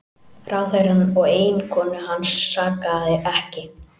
Ráðherrann og eiginkonu hans sakaði ekki